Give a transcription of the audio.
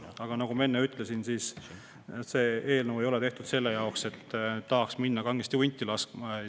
Aga nagu ma enne ütlesin, see eelnõu ei ole tehtud, sest tahaks minna kangesti hunti laskma.